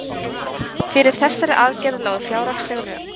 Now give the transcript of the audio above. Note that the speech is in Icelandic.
Fyrir þessari aðgerð lágu fjárhagsleg rök.